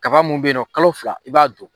Kaba mun bɛ yen nɔ kalo fila i b'a don.